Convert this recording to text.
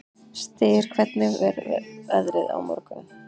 Styr, hvernig verður veðrið á morgun?